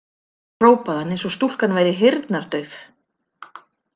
Hrópaði hann eins og stúlkan væri heyrnardauf.